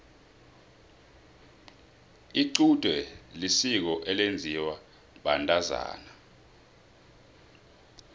icude lisiko elenziwa bantazana